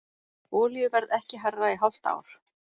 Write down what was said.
Olíuverð ekki hærra í hálft ár